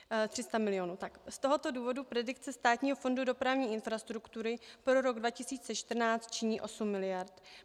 Z tohoto důvodu predikce Státního fondu dopravní infrastruktury pro rok 2014 činí 8 miliard.